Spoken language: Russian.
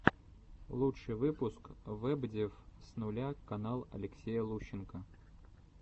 лучший выпуск вэбдев с нуля канал алексея лущенко